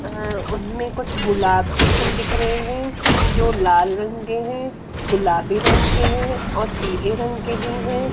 अ उसमें कुछ गुलाब के फूल दिख रहे हैं जो लाल रंग के है गुलाबी रंग के है और पीले रंग के भी है।